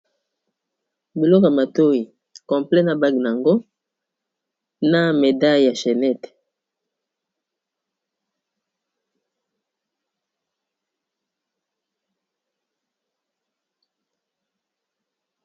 Biloko ya matoyi complet na bag nango na medaile ya chenet.